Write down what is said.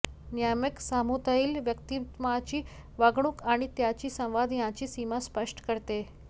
नियामक समूहातील व्यक्तिमत्वाची वागणूक आणि त्याची संवाद यांची सीमा स्पष्ट करते